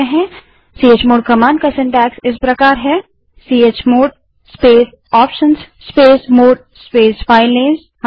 chmod command का रचनाक्रमसीनटैक्स इस प्रकार है chmod space options space mode space filename space chmod space options space filename